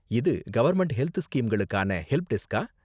இது government health ஸ்கீம்களுக்கான ஹெல்ப்டெஸ்க்கா?